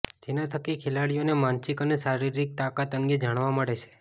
જેના થકી ખેલાડીઓની માનસિક અને શારીરિક તાકાત અંગે જાણવા મળે છે